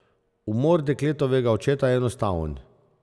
Umor dekletovega očeta je enostaven.